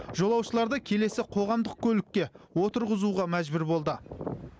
жолаушыларды келесі қоғамдық көлікке отырғызуға мәжбүр болды